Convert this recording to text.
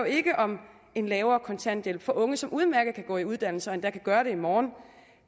ikke om en lavere kontanthjælp for unge som udmærket kan komme i uddannelse og endda kan gøre det i morgen